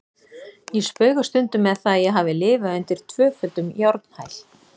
Ég spauga stundum með það að ég hafi lifað undir tvöföldum járnhæl.